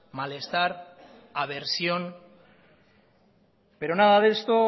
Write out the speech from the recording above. malestar aversión pero nada de esto